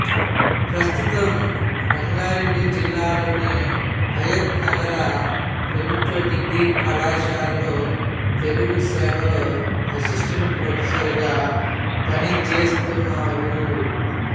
ప్రస్తుతం రంగారెడ్డి జిల్లాలోని హయత్ నగర్ ప్రభుత్వ డిగ్రీ కళాశాలలో తెలుగు శాఖలో అసిస్టెంట్ ప్రొఫెసర్ గా పనిజేస్తున్నారు